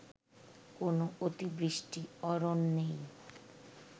কোন অতিবৃষ্টি অরণ্যেই